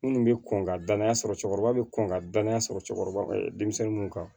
Minnu bɛ kɔn ka danaya sɔrɔ cɛkɔrɔba bɛ kɔn ka danaya sɔrɔ cɛkɔrɔba denmisɛnninw kan